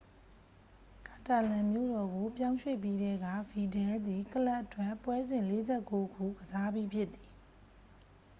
ကာတာလန်မြို့တော်ကို ပြောင်းရွှေ့ပြီးထဲက ဗီဒလ်သည် ကလပ်အတွက် ပွဲစဉ် 49 ခု ကစားပြီးဖြစ်သည်